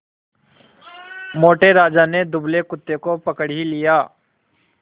मोटे राजा ने दुबले कुत्ते को पकड़ ही लिया